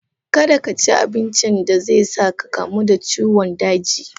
Kada ka ci abincin da zai sa ka kamu da ciwon daji.